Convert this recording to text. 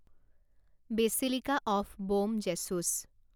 basilica of Bom Jesus